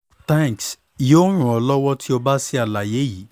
thanks yoo ran ọ lọwọ ti o ba ba ṣe alaye yii